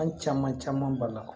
An caman caman b'a la